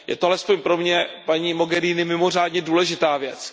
Je to alespoň pro mě, paní Mogheriniová, mimořádně důležitá věc.